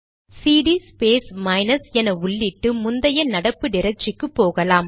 CD space minus என உள்ளிட்டு முந்தைய நடப்பு டிரக்டரிக்கு போகலாம்